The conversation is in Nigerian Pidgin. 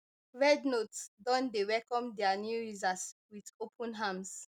rednote don dey welcome dia new users wit open arms